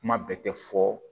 Kuma bɛɛ tɛ fɔ